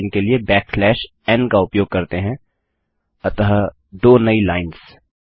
फिर नई लाइन के लिए बैकस्लैश एन का उपयोग करते हैं अतः दो नई लाइन्स